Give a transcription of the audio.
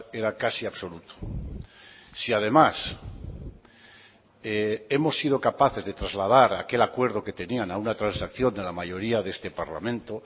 era casi absoluto si además hemos sido capaces de trasladar aquel acuerdo que tenían a una transacción de la mayoría de este parlamento